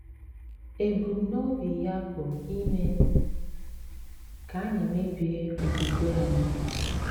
Ebumnobi ya bụ ime ka anyị mebie okwukwe anyị.